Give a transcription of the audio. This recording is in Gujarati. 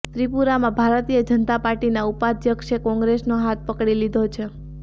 ત્રિપુરામાં ભારતીય જનતા પાર્ટીના ઉપાધ્યક્ષે કોંગ્રેસનો હાથ પકડી લીધો છે